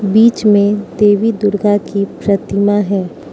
बीच में देवी दुर्गा की प्रतिमा है।